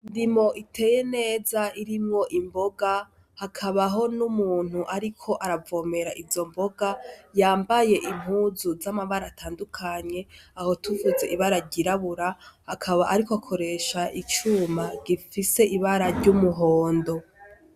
Indimo iteye neza irimwo imboga hakabaho n' umuntu ariko aravomera izo mboga yambaye impuzu z'amabara atandukanye aho tuvuze ibara ryirabura akaba ariko akoresha icuma gifise ibara ry' umuhondo.